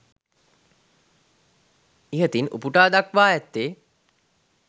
ඉහතින් උපුටා දක්වා ඇත්තේ